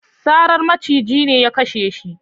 Sarar maciji ne ya kashe shi